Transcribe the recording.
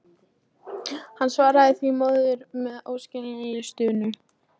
Hann svaraði því móður sinni með óskiljanlegri stunu.